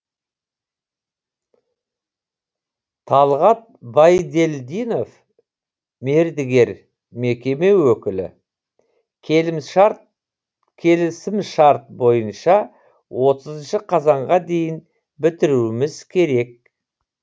талғат байдельдинов мердігер мекеме өкілі келісімшарт бойынша отызыншы қазанға дейін бітіруіміз керек